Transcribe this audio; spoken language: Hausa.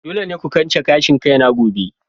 Dole ne ku kwance gashin kaina gobe!